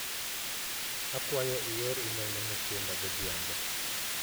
Akwayo ior imel ne Mutinda godhiambo.